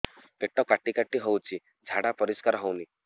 ପେଟ କାଟି କାଟି ହଉଚି ଝାଡା ପରିସ୍କାର ହଉନି